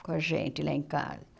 Com a gente lá em casa.